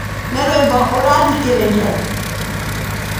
Ni rwĩmbo urathikerereiria?